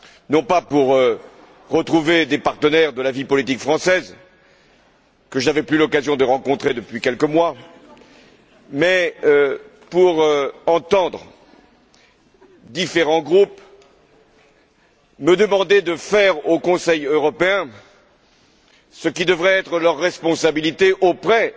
non pas pour retrouver des partenaires de la vie politique française que je n'avais plus eu l'occasion de rencontrer depuis quelques mois, mais pour entendre différents groupes me demander de faire au Conseil européen ce qui devrait être leur responsabilité auprès